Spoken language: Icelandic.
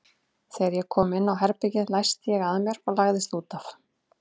Þegar ég kom inn á herbergið læsti ég að mér og lagðist út af.